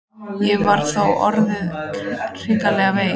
Ég var þá orðinn hrikalega veikur.